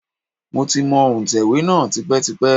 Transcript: Mo ti mọ òǹtẹ̀wé náà tipẹ́tipẹ́.